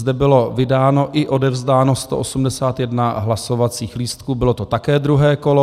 Zde bylo vydáno i odevzdáno 181 hlasovacích lístků, bylo to také druhé kolo.